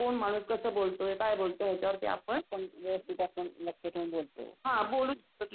काही नाही यात्रेत काय करतात दर्शन घेतो, फिरतो, फोटो वगैरे काढतो.